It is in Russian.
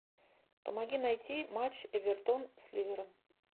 помоги найти матч эвертон с ливером